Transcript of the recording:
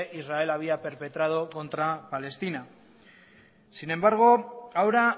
israel había perpetrado contra palestina sin embargo ahora